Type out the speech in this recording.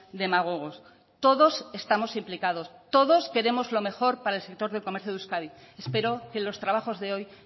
demagogos todos estamos implicados todos queremos lo mejor para el sector del comercio de euskadi espero que los trabajos de hoy